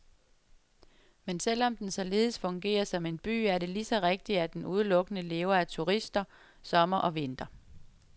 Men selv om den således fungerer som en by, er det ligeså rigtigt, at den udelukkende lever af turister, sommer og vinter.